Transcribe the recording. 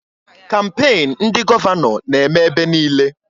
Kampain ndị gọvanọ na-eme ebe niile